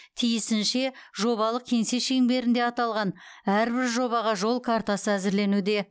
тиісінше жобалық кеңсе шеңберінде аталған әрбір жобаға жол картасы әзірленуде